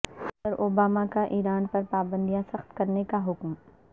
صدر اوباما کا ایران پر پابندیاں سخت کرنے کا حکم